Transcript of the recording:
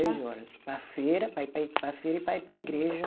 Três horas, para a feira para ir para, para a feira e para ir para a igreja.